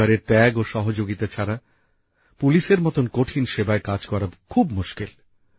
পরিবারের ত্যাগ ও সহযোগিতা ছাড়া পুলিশের মতন কঠিন সেবায় কাজ করা খুব মুশকিল